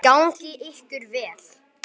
Gangi ykkur vel.